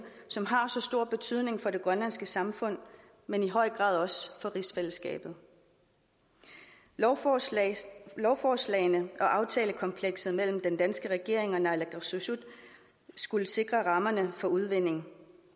som har så stor betydning for det grønlandske samfund men i høj grad også for rigsfællesskabet lovforslagene lovforslagene og aftalekomplekset mellem den danske regering og naalakkersuisut skulle sikre rammerne for udvinding